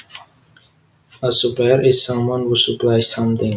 A supplier is someone who supplies something